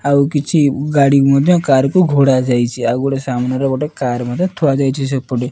ଆଉ କିଛି ଗାଡ଼ି ମଧ୍ୟ କାର୍ କୁ ଘୋଢ଼ାଯାଇଚି। ଆଉ ଗୋଟେ ସାମ୍ନାରେ ଗୋଟେ କାର୍ ମଧ୍ୟ ଦିଆଯାଇଛି ସେପଟେ।